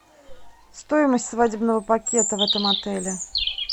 стоимость свадебного пакета в этом отеле